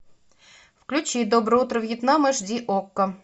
включи доброе утро вьетнам аш ди окко